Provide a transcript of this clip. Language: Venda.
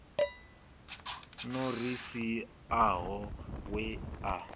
no ri siaho we a